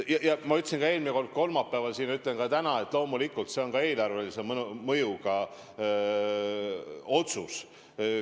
Nagu ma ütlesin ka eelmine kord, kolmapäeval, nii ütlen ka täna, et loomulikult see on eelarvelise mõjuga otsus.